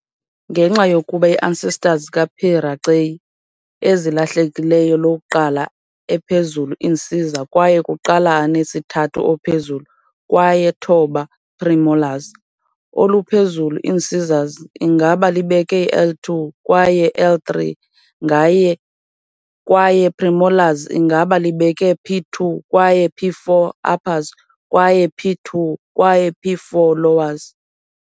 Ngenxa yokuba ancestors ka - "P. raceyi" ezilahlekileyo lokuqala ephezulu incisor kwaye kuqala anesithathu ophezulu kwaye thoba premolars, oluphezulu incisors ingaba libeke I2 kwaye I3 kwaye premolars ingaba libeke P2 kwaye P4, uppers, kwaye p2 kwaye p4, lowers.